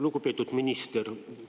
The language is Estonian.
Lugupeetud minister!